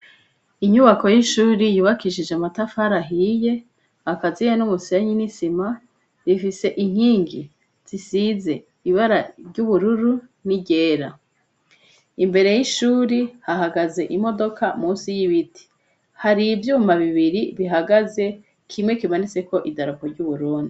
Inyubako y'ishuri yubakishije amatafara ahiye, akaziye n'umusenyi n'isima. Bifise inkingi zisize ibara ry'ubururu n'iryera. Imbere yishuri, hahagaze imodoka munsi y'ibiti. Hari ivyuma bibiri bihagaze, kimwe kimanitseko idarapo ry'uburundi.